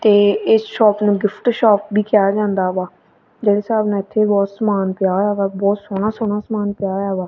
ਤੇ ਇਸ ਸ਼ੋਪ ਨੂੰ ਗਿਫਟ ਸ਼ੋਪ ਵੀ ਕਿਹਾ ਜਾਂਦਾ ਵਾ ਜਿਹੜੇ ਹਿਸਾਬ ਨਾਲ ਇਥੇ ਬਹੁਤ ਸਮਾਨ ਪਿਆ ਹੋਇਆ ਵਾ ਬਹੁਤ ਸੋਹਣਾ ਸੋਹਣਾ ਸਮਾਨ ਪਿਆ ਹੋਇਆ ਵਾ।